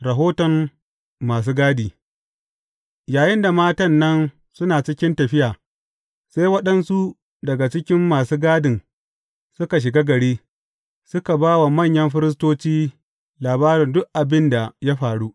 Rahoton masu gadi Yayinda matan nan suna cikin tafiya, sai waɗansu daga cikin masu gadin suka shiga gari, suka ba wa manyan firistoci labarin duk abin da ya faru.